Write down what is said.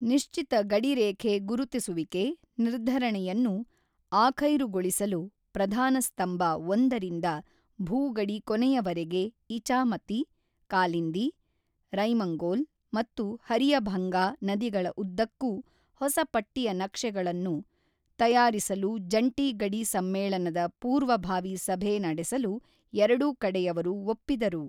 ನಿಶ್ಚಿತ ಗಡಿ ರೇಖೆ ಗುರುತಿಸುವಿಕೆ ನಿರ್ಧರಣೆಯನ್ನು ಆಖೈರುಗೊಳಿಸಲು ಪ್ರಧಾನ ಸ್ತಂಬ ಒಂದರಿಂದ ಭೂ ಗಡಿ ಕೊನೆಯವರೆಗೆ ಇಚಾಮತಿ, ಕಾಲಿಂದಿ, ರೈಮಂಗೋಲ್ ಮತ್ತು ಹರಿಯಭಂಗಾ ನದಿಗಳ ಉದ್ದಕ್ಕೂ ಹೊಸ ಪಟ್ಟಿಯ ನಕ್ಷೆಗಳನ್ನು ತಯಾರಿಸಲು ಜಂಟಿ ಗಡಿ ಸಮ್ಮೇಳನದ ಪೂರ್ವಭಾವಿ ಸಭೆ ನಡೆಸಲು ಎರಡೂ ಕಡೆಯವರು ಒಪ್ಪಿದರು.